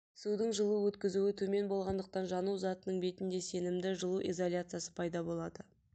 судың жылу өткізуі төмен болғандықтан жану затының бетінде сенімді жылу изоляциясы пайда болады